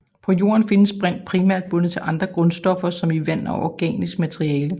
På Jorden findes brint primært bundet til andre grundstoffer som i vand og organisk materiale